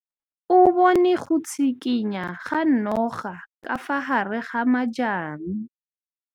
O bone go tshikinya ga noga ka fa gare ga majang.